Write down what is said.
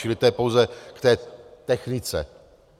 Čili to je pouze k té technice.